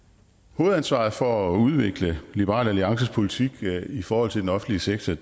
hovedansvaret for at udvikle liberal alliances politik i forhold til den offentlige sektor